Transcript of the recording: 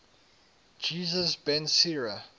jesus ben sira